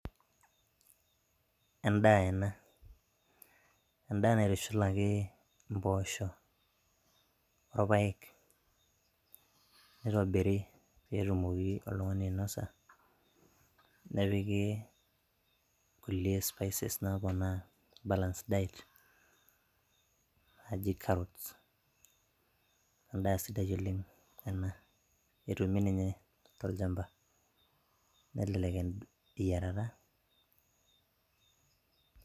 Endaa ena naitushulaki mpoosho orpayek neitobiri peyie etumoki oltung`ani ainosa nepiki kulie spices naaponaa balanced diet naaji carrots endaa sidai oleng ena etumi ninye tolchamba nelelek eyiarata.